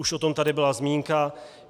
Už o tom tady byla zmínka.